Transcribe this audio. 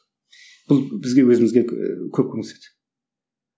бұл бізге өзімізге ііі көп көмектеседі